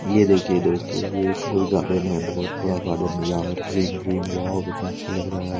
ये दिखिए दोस्तों ये एक गुल गार्डन है बहुत बड़ा गार्डन है यहाँ ग्रीन ग्रीन कितना अच्छा लग रहा है ।